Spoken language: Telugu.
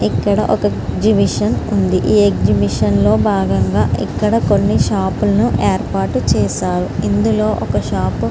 ఇక్కడ ఒక ఎగ్జిబిషన్ ఉంది. ఎగ్జిబిషన్ లో భాగంగా కొన్ని షాపు లను ఎక్కడ ఏర్పాటు చేశారు. ఇందులో ఒక షాపు --